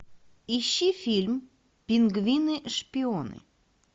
ищи фильм пингвины шпионы